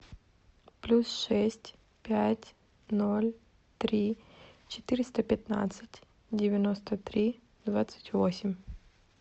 плюс шесть пять ноль три четыреста пятнадцать девяносто три двадцать восемь